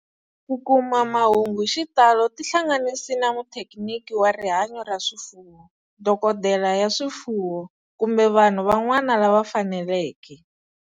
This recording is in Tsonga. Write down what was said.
Ku kuma mahungu hi xitalo tihlanganisi na muthekiniki wa rihanyo ra swifuwo, dokodela ya swifuwo, kumbe vanhu van'wana lava faneleke.